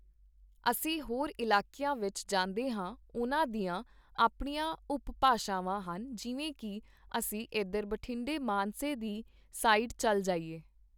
ਅਸੀਂ ਹੋਰ ਇਲਾਕੀਆਂ ਵਿੱਚ ਜਾਂਦੇ ਹਾਂ, ਉਹਨਾਂ ਦੀਆਂ ਆਪਣੀਆਂ ਉਪਭਾਸ਼ਾਵਾਂ ਹਨ, ਜਿਵੇਂ ਕਿ ਅਸੀਂ ਇੱਧਰ ਬਠਿੰਡੇ ਮਾਨਸੇ ਦੀ ਸਾਈਡ ਚੱਲ ਜਾਈਏ